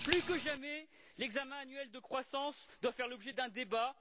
Plus que jamais, l'examen annuel de croissance doit faire l'objet d'un débat.